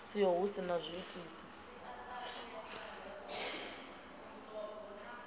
siho hu si na zwiitisi